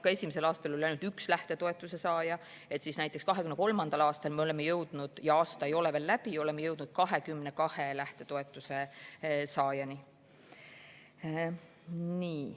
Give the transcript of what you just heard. Kui esimesel aastal oli ainult üks lähtetoetuse saaja, siis näiteks 2023. aastal me oleme jõudnud – aasta ei ole veel läbi – 22 lähtetoetuse saajani.